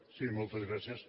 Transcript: sí moltes gràcies